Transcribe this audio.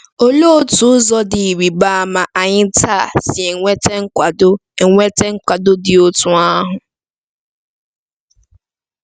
Olee otu ụzọ dị ịrịba ama anyị taa si enweta nkwado enweta nkwado dị otú ahụ?